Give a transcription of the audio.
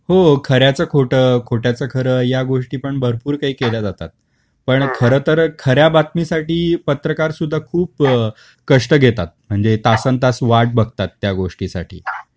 हो खऱ्याच खोट, खोट्याच खर् या गोष्टी पण भरपूर काही केल्या जातात. पण खर तर खऱ्या बातमी साठी पत्रकार सुद्धा खूप कष्ट घेतात. म्हणजे तासन् तास वाट बघतात त्या गोष्टी साठी.